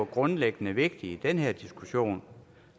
grundlæggende vigtigt i den her diskussion